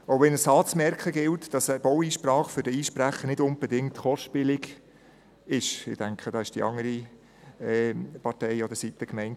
Auch wenn es anzumerken gilt, dass eine Baueinsprache für den Einsprecher nicht unbedingt kostspielig ist – ich denke, damit war die andere Partei an der Seite gemeint.